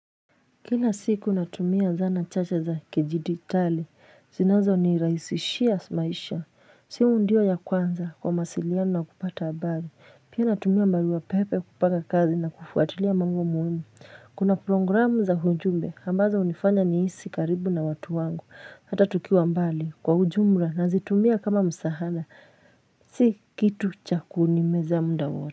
Kila siku natumia zana chache za kijiditali, zinazonirahisishia maisha, simu ndio ya kwanza kwa mawasiliana na kupata habari, pia natumia barua pepe kupanga kazi na kufuatilia mambo muhimu. Kuna programu za ujumbe, ambazo hunifanya nihisi karibu na watu wangu, hata tukiwa mbali kwa ujumla nazitumia kama msahana, si kitu cha kuni meza muda wata.